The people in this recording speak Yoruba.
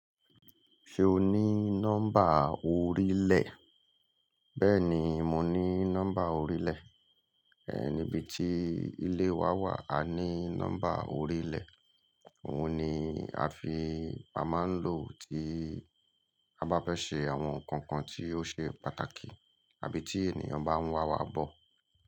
Ṣé o ní nọ́mbà orílẹ̀? Bẹ́ẹ̀ni, mo ní nọ́mbà orílẹ̀. Ẹ̀ nibiti ilé wa wà, a ní nọ́mbà orílẹ̀. Òhun ni a fi máa ń lò tí a bá fẹ́ ṣe àwọn nǹkan kan tí ó ṣe pàtàkì àbí tí ènìyàn bá ń wà wá bọ̀.